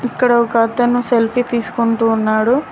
ఇక్కడ ఒక అతను సెల్ఫీ తీసుకుంటూ ఉన్నాడు